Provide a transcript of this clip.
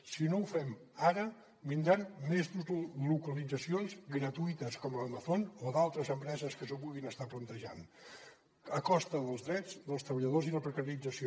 si no ho fem ara vindran més deslocalitzacions gratuïtes com la d’amazon o d’altres empreses que s’ho puguin estar plantejant a costa dels drets dels treballadors i la precarització